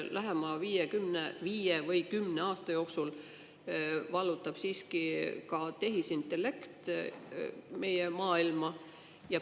Lähema viie või kümne aasta jooksul vallutab meie maailma tehisintellekt.